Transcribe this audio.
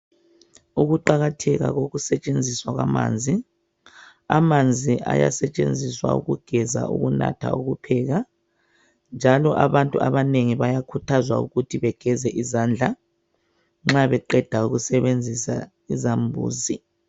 Ukuqakatheka kokusetshenziswa kwamanzi amanzi ayasetshenziswa ukugeza ukunatha, ukupheka njalo abantu bayakhuthazwa ukugeza izandla nxa beqeda ukusebenzisa izambuzi.